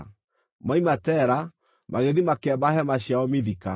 Moima Tera, magĩthiĩ makĩamba hema ciao Mithika.